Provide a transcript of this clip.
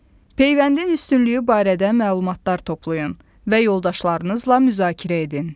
Peyvəndin üstünlüyü barədə məlumatlar toplayın və yoldaşlarınızla müzakirə edin.